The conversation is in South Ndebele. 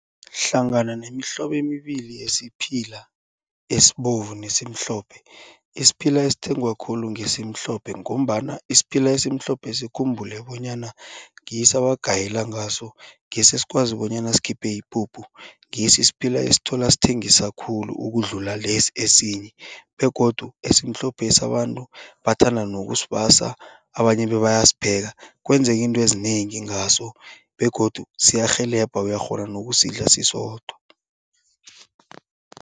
Hlangana nemihlobo emibili yesiphila esibovu nesimhlophe isiphila esithengwa khulu ngesimhlophe. Ngombana isiphila esimhlophesi ukhumbule bonyana ngiso abagayela ngaso ngiso esikwazi bonyana ukukhipha ipuphu ngiso isiphila esithola esithengiswa khulu ukudlula lesi esinye begodu esimhlophesi abantu bathanda nokusibasa. Abanye bebayasipheka kwenzeka iinto ezinengi ngaso begodu siyarhelebha uyakghona nokusidla sisodwa.